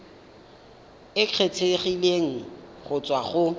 e kgethegileng go tswa go